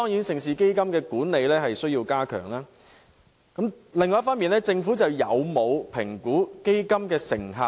盛事基金的管理固然有待改善，但政府有否評估基金的成效？